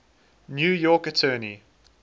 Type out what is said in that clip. new york attorney